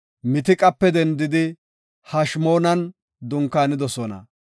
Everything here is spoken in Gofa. Mitiqape dendidi Hashimoonan dunkaanidosona.